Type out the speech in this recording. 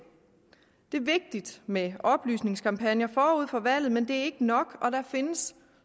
det er vigtigt med oplysningskampagner forud for valget men det er ikke nok og der findes